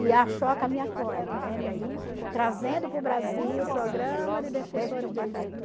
E a me acolhe, né, me trazendo para o Brasil o programa de defensores de direito